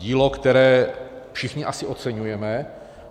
Dílo, které všichni asi oceňujeme.